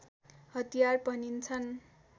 हतियार भनिन्छन्